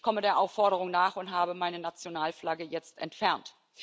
Ich komme der Aufforderung nach und habe meine Nationalflagge jetzt entfernt.